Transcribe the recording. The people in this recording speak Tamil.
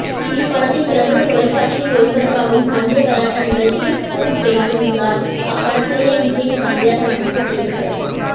இப்படத்தை பிரபல தொலைக்காட்சியில் ஒளிபரப்பாகும் சண்டே கலாட்டா நிகழ்ச்சியில் ஸ்பூஃப் செய்திருந்தார் அப்படத்திலேயே விஜய்க்கு தங்கையாக நடித்த ஜெனிஃபர்